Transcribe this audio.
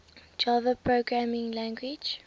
java programming language